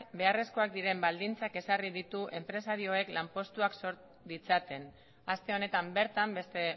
beharrezkoak diren baldintzak ezarri ditu enpresarioek lanpostuak sor ditzaten aste honetan bertan beste